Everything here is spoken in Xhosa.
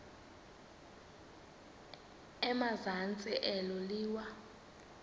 emazantsi elo liwa